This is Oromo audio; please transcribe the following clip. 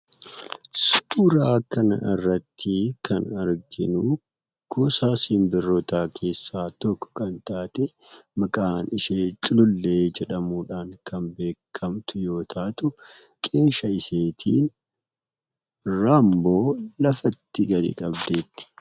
Suuraa kana irratti kan arginu gosa sinbiroota keessa tokko kan taate maqaan ishee culuullee jedhamuudhan kan beekamtu yoo taatu qeensa isheetiin raammoo lafatti gadi qabdee jirti.